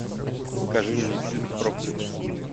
покажи мне фильм проклятый путь